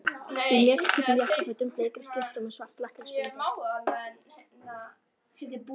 Í mjallhvítum jakkafötum, bleikri skyrtu og með svart lakkrísbindi.